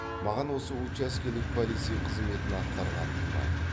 маған осы учаскелік полицей қызметін атқарған ұнайды